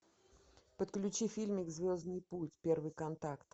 подключи фильмик звездный путь первый контакт